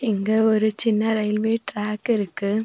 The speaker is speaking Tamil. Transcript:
இங்க ஒரு சின்ன ரயில்வே டிராக் இருக்கு.